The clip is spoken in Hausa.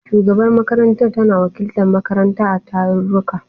Shugabar makarantar tana wakiltar makaranta a tarurruka.